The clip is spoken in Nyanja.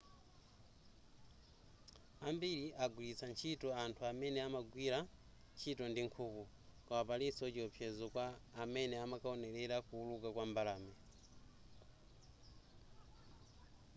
ambiri agwiritsa ntchito anthu amene amagwira ntchito ndi nkhuku koma palinso chiopsezo kwa amene amakaonelera kuwuluka kwa mbalame